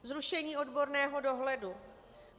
Zrušení odborného dohledu.